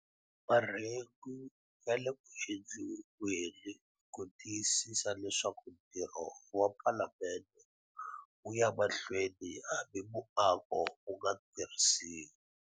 Marhengu ya le ku endliweni ku tiyisisa leswaku ntirho wa Palamende wu ya emahlweni hambi muako wu nga tirhisiwi.